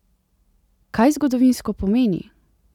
Kaj zgodovinsko pomeni?